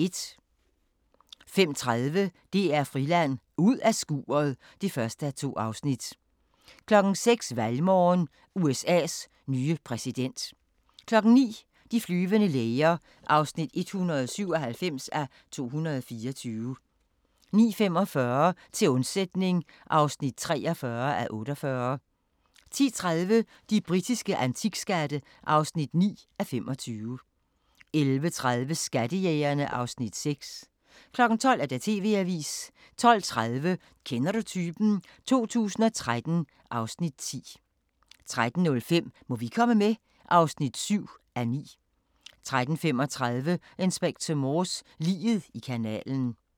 05:30: DR Friland: Ud af skuret (1:2) 06:00: Valgmorgen: USA's nye præsident 09:00: De flyvende læger (197:224) 09:45: Til undsætning (43:48) 10:30: De britiske antikskatte (9:25) 11:30: Skattejægerne (Afs. 6) 12:00: TV-avisen 12:30: Kender du typen? 2013 (Afs. 10) 13:05: Må vi komme med? (7:9) 13:35: Inspector Morse: Liget i kanalen